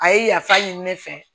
A ye yafa ɲini ne fɛ